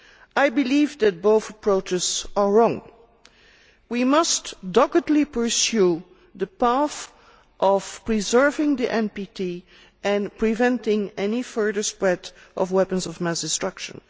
I believe that both approaches are wrong. We must doggedly pursue the path of preserving the NPT and preventing any further spread of weapons of mass destruction.